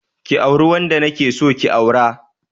Ki auri wanda na ke so ki aura.